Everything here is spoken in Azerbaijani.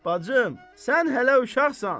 Bacım, sən hələ uşaqsan.